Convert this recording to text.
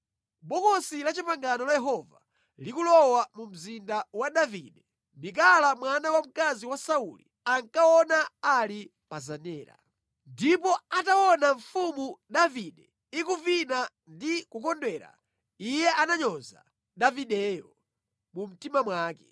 Bokosi la Chipangano la Yehova likulowa mu Mzinda wa Davide, Mikala mwana wamkazi wa Sauli ankaona ali pa zenera. Ndipo ataona Mfumu Davide ikuvina ndi kukondwera, iye ananyoza Davideyo mu mtima mwake.